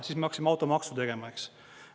Siis me hakkasime automaksu tegema, eks.